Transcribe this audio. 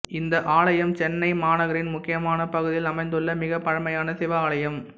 இந்த ஆலயம் சென்னை மாநகரின் முக்கியமான பகுதியில் அமைந்துள்ள மிக பழமையான சிவ ஆலயம்